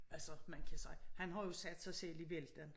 Altså man kan sige han har jo sat sig selv i vælten